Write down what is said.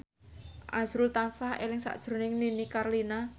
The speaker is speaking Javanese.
azrul tansah eling sakjroning Nini Carlina